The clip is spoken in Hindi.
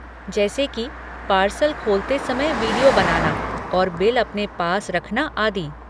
जैसे कि पार्सल खोलते समय विडियो बनाना और बिल अपने पास रखना, आदि।